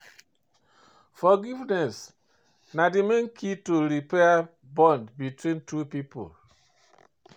Forgiveness na di main key to repair bond between two people.